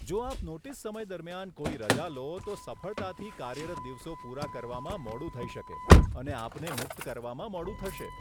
જો આપ નોટીસ સમય દરમિયાન કોઈ રજા લો, તો સફળતાથી કાર્યરત દિવસો પુરા કરવામાં મોડું થઇ શકે અને આપને મુક્ત કરવામાં મોડું થશે.